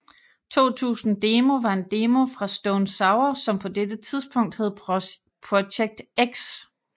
2000 Demo var en demo fra Stone Sour som på dette tidspunkt hed Project X